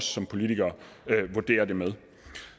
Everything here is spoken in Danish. som politikere vurderer det med